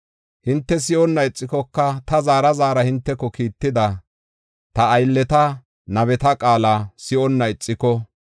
hinte si7onna ixikoka ta zaara zaarada hinteko kiitida, ta aylleta nabeta qaala si7onnan ixiko,